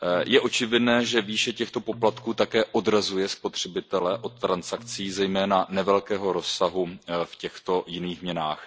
Je očividné, že výše těchto poplatků také odrazuje spotřebitele od transakcí zejména nevelkého rozsahu v těchto jiných měnách.